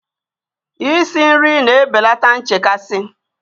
Isi nri na-ebelata nchekasị